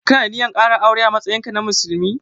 Ka na da ninyar ƙara aure a matsayin ka na musulmi?